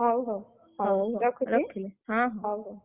ହଉ ହଉ, ହଉ ।